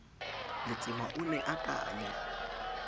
letsema o ne a akanya